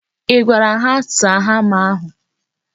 I gwara ha saa hama ahụ?